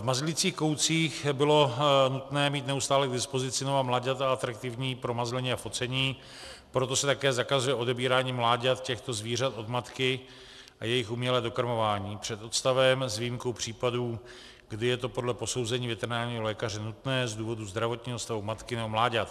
V mazlicích koutcích bylo nutné mít neustále k dispozici nová mláďata atraktivní pro mazlení a focení, proto se také zakazuje odebírání mláďat těchto zvířat od matky a jejich umělé dokrmování před odstavem s výjimkou případů, kdy je to podle posouzení veterinárního lékaře nutné z důvodu zdravotního stavu matky nebo mláďat.